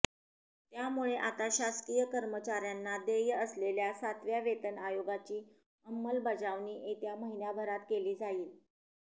त्यामुळे आता शासकीय कर्मचार्यांंना देय असलेल्या सातव्या वेतन आयोगाची अंमलबजावणी येत्या महिन्याभरात केली जाईल